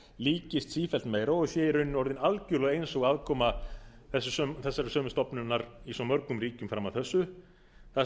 líkist sífellt meira og sé í rauninni orðin algerlega eins og aðkoma þessarar sömu stofnunar í svo mörgum ríkjum fram að þessu þar